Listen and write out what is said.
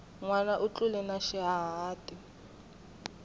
nwana u tlule na xihahati